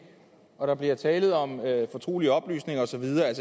og der bliver talt om fortrolige oplysninger og så videre